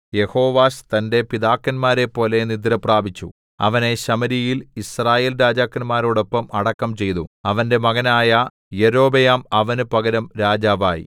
യെഹോവാശ് തന്റെ പിതാക്കന്മാരെപ്പോലെ നിദ്രപ്രാപിച്ചു അവനെ ശമര്യയിൽ യിസ്രായേൽരാജാക്കന്മാരോടൊപ്പം അടക്കം ചെയ്തു അവന്റെ മകനായ യൊരോബെയാം അവന് പകരം രാജാവായി